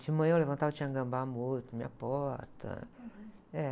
De manhã eu levantava e tinha gambá morto na minha porta. É.